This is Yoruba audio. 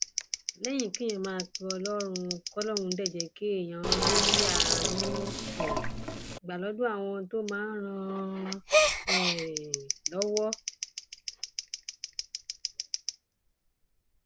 lẹyìn kéèyàn máa pe ọlọrun k ọlọrun dé jẹ kéèyàn rí àánú um gbà lọdọ àwọn tó máa ràn án um lọwọ